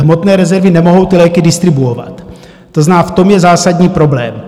Hmotné rezervy nemohou ty léky distribuovat, to znamená, v tom je zásadní problém.